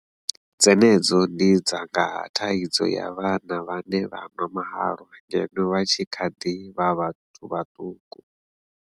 Dzenedzo ndi dza nga ha thaidzo ya vhana vhane vha nwa mahalwa ngeno vha tshi kha ḓi vha vhathu vhaṱuku.